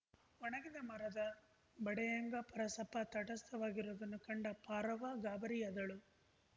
ಒಣಗಿದ ಮರದ ಬಡ್ಡೆಯ್ಹಂಗ ಪರಸಪ್ಪ ತಟಸ್ಥವಾಗಿರೋದನ್ನು ಕಂಡ ಪಾರವ್ವ ಗಾಬರಿಯಾದಳು